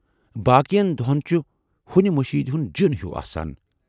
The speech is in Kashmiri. باقٮ۪ن دۅہَن چھُ ہُنۍ مٔشیٖد ہُند جِن ہیوٗ آسان۔